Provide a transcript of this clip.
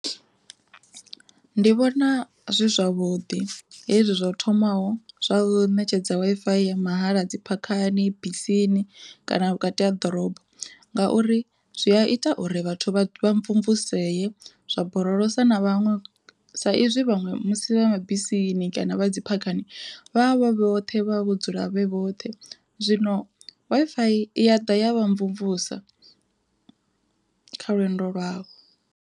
Ndi vhona zwi zwavhuḓi hezwi zwa thomaho zwa ṋetshedzwa Wi-Fi ya mahala dzi phakhani, bisini kana vhukati ha ḓorobo ngauri zwi a ita uri vhathu vha mvumvusea zwa borolosa na vhaṅwe sa izwi vhaṅwe musi vha mabisini kana vha dzi phakhani vhavho vhoṱhe vha vho dzula vhe vhoṱhe zwino Wi-Fi iya ḓa ya vha mvumvusa kha lwendo lwavho.